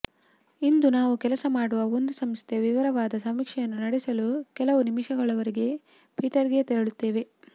ಇಂದು ನಾವು ಕೆಲಸ ಮಾಡುವ ಒಂದು ಸಂಸ್ಥೆಯ ವಿವರವಾದ ಸಮೀಕ್ಷೆಯನ್ನು ನಡೆಸಲು ಕೆಲವು ನಿಮಿಷಗಳವರೆಗೆ ಪೀಟರ್ಗೆ ತೆರಳುತ್ತೇವೆ